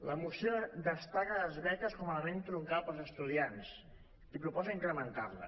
la moció destaca les beques com a element troncal per als estudiants i proposa incrementar les